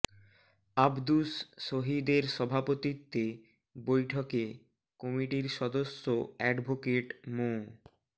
আবদুস শহীদ এর সভাপতিত্বে বৈঠকে কমিটির সদস্য অ্যাডভোকেট মো